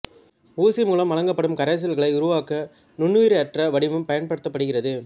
ஊசி மூலம் வழங்கப்படும் கரைசல்களை உருவாக்க ஒரு நுண்ணுயிரற்ற வடிவம் பயன்படுத்தப்படுகிறது